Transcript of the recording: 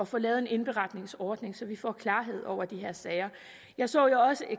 få lavet en indberetningsordning så vi får klarhed over de her sager jeg så jo også i